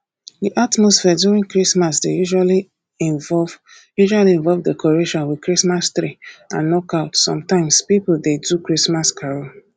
di atmosphere during christmas dey usually involve usually involve decoration with christmas tree and knockout some times pipo dey do christmas carol